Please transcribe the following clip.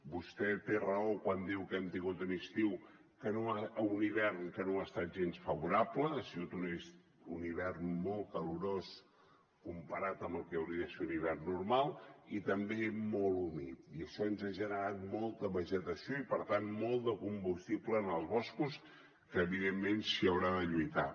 vostè té raó quan diu que hem tingut un hivern que no ha estat gens favorable ha sigut un hivern molt calorós comparat amb el que hauria de ser un hivern normal i també molt humit i això ens ha generat molta vegetació i per tant molt de combustible en els boscos que evidentment s’hi haurà de lluitar